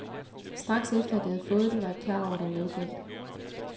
Straks efter, jeg havde fået den, var jeg klar over, der var noget galt.